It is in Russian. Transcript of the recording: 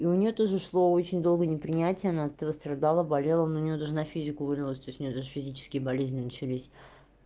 и у неё тоже шло очень долго непринятие она от этого страдала болела ну у неё даже на физику вылилось то есть у неё даже физические болезни начались